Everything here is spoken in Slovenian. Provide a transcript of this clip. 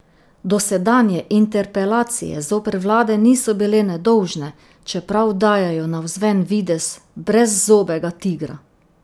Dosedanje interpelacije zoper vlade niso bile nedolžne, čeprav dajejo navzven videz brezzobega tigra.